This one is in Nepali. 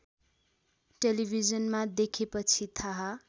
टेलिभिजनमा देखेपछि थाहा